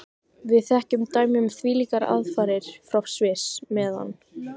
Við þekkjum dæmi um þvílíkar aðfarir frá Sviss, meðan